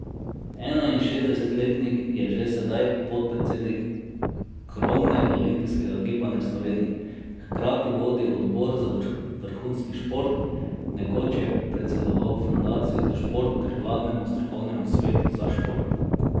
Enainšestdesetletnik je že sedaj podpredsednik krovnega olimpijskega gibanja v Sloveniji, hkrati vodi odbor za vrhunski šport, nekoč je predsedoval Fundaciji za šport ter vladnemu strokovnemu svetu za šport.